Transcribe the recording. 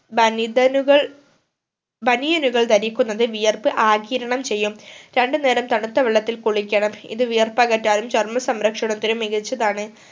ബനിതനുകൾ ബനിയനുകൾ ദരിക്കുന്നത് വിയർപ് ആകിരണം ചെയ്യും രണ്ടു നേരം തണുത്ത വെള്ളത്തിൽ കുളിക്കണം ഇത് വിയർപ്പകറ്റാനും ചർമ്മ സംരക്ഷണത്തിനും മികച്ചതാണ്